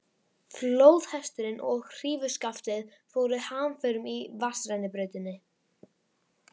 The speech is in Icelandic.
Flóðhesturinn og hrífuskaftið fóru hamförum í vatnsrennibrautinni.